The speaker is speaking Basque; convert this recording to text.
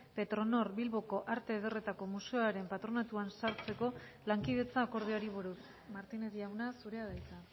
petronor bilboko arte ederretako museoaren patronatuan sartzeko lankidetza akordioari buruz martínez jauna zurea da hitza